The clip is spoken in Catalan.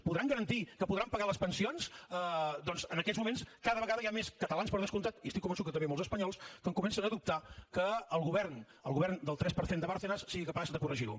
podran garantir que podran pagar les pensions doncs en aquests moments cada vegada hi ha més catalans per descomptat i estic convençut que també molts espanyols que comencem a dubtar que el govern el govern del tres per cent de bárcenas sigui capaç de corregir ho